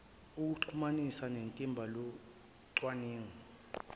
okumxhumanisa nethimba locwaningo